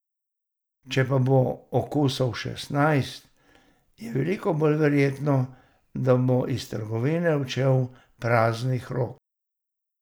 Če pa bo okusov šestnajst, je veliko bolj verjetno, da bo iz trgovine odšel praznih rok.